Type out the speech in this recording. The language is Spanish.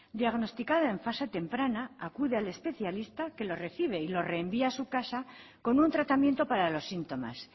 diagnosticada en fase temprana acude al especialista que lo recibe y lo reenvía a su casa con un tratamiento para los síntomas